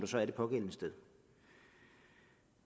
så er det pågældende sted